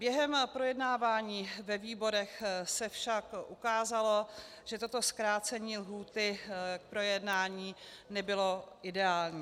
Během projednávání ve výborech se však ukázalo, že toto zkrácení lhůty k projednání nebylo ideální.